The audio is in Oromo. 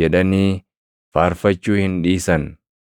jedhanii faarfachuu hin dhiisan.